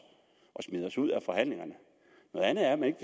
og smider os ud af forhandlingerne noget andet er at man